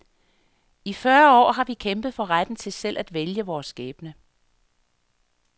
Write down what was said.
I fyrre år har vi kæmpet for retten til selv at vælge vores skæbne.